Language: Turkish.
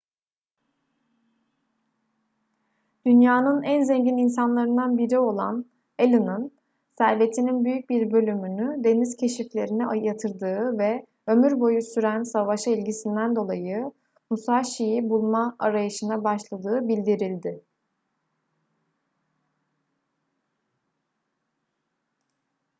dünyanın en zengin insanlarından biri olan allen'ın servetinin büyük bir bölümünü deniz keşiflerine yatırdığı ve ömür boyu süren savaşa ilgisinden dolayı musashi'yi bulma arayışına başladığı bildirildi